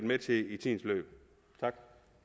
med til i tidens løb tak